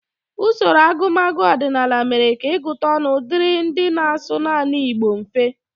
Usoro agụmagụ ọdịnala mere ka ịgụta ọnụ dịrị ndị na-asụ naanị Igbo mfe